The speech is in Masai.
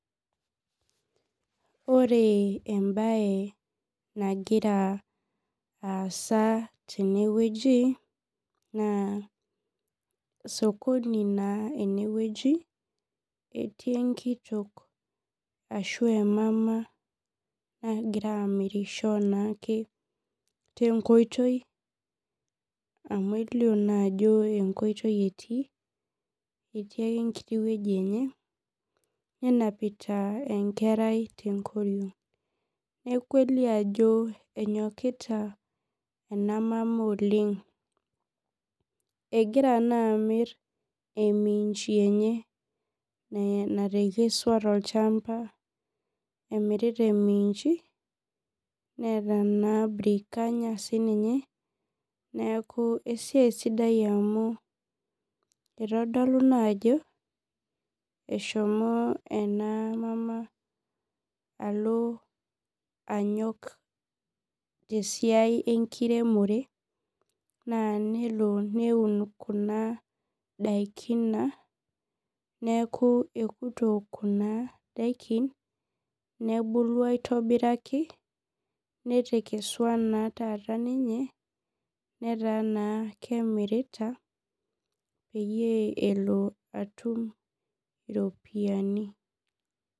Ore embae nagira aasa tenewueji na sokoni na enewueji etii enkitok ashu emama nagira amirisho tenkoitoi amu kelio ajo enkoitoi etii etii ake enkiti woi enye nenapita enkerai tenkoriong neaku elio ajo enyokita enamama oleng egira na amir aminji eye natekesua tolchamba neeta si brikanya sinyea neaku esiaia sidai oleng amu itodolu naa ajo eshomo enamama alo anyok tesiai enkiremore na nelo aun na ndakin na neaku ekuto kuna dakin nebulu aitobiraki nataata ninche netaa na kemirita peyie elo iropiyiani.